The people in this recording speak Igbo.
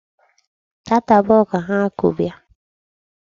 Taata abụọ ka ha ku bịa.